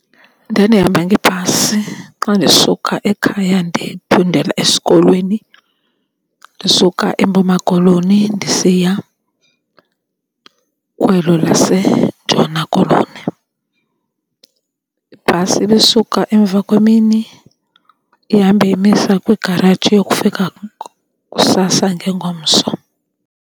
Ndandihamba ngebhasi xa ndisuka ekhaya ndiphindela esikolweni ndisuka eMpuma Koloni ndisiya kwelo laseNtshona Koloni. Ibhasi ibisuka emva kwemini ihambe imisa kwigaraji yokufika kusasa ngengomso.